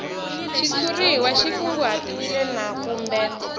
xitshuriwa xi kunguhatiwile na kumbe